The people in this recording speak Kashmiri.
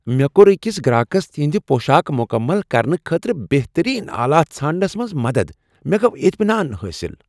مےٚ کور أکس گراكس تِہنٛدِ پوشاک مکمل کرنہٕ خٲطرٕ بہترین آلات ژھانڈنس منٛز مدتھ، مےٚ گوو اطمِنان محسوس۔